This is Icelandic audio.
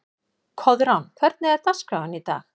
Koðrán, hvernig er dagskráin í dag?